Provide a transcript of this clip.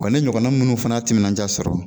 Wa ne ɲɔgɔnna munnu fana y'a timinanja sɔrɔ